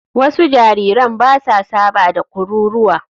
Wasu jariran ba sa saba da kururuwa.